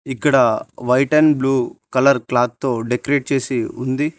ఇక్కడ white and blue colour cloth తో decorate చేసి ఉంది.